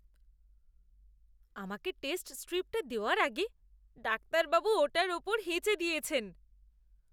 আমাকে টেস্ট স্ট্রিপটা দেওয়ার আগে, ডাক্তারবাবু ওটার ওপর হেঁচে দিয়েছেন!